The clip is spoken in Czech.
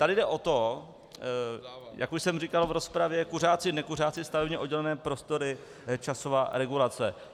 Tady jde o to, jak už jsem říkal v rozpravě, kuřáci, nekuřáci, stavebně oddělené prostory, časová regulace.